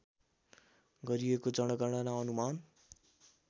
गरिएको जनगणना अनुमान